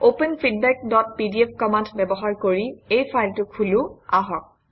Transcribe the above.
open feedbackপিডিএফ command ব্যৱহাৰ কৰি এই ফাইলটো খোলো আহক